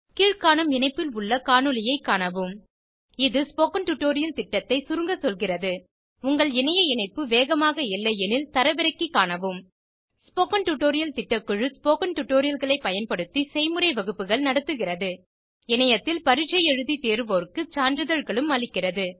கீழ்காணும் இணைப்பில் உள்ள காணொளியைக் காணவும் இது ஸ்போகன் டுடோரியல் திட்டத்தை சுருங்க சொல்கிறது உங்கள் இணைய இணைப்பு வேகமாக இல்லையெனில் தரவிறக்கி காணவும் ஸ்போகன் டுடோரியர் திட்டக்குழு ஸ்போகன் டுடோரியல்களை பயன்படுத்தி செய்முறை வகுப்புகள் நடத்துகிறது இணையத்தில் பரீட்சை எழுதி தேர்வோருக்கு சான்றிதழ்களும் அளிக்கிறது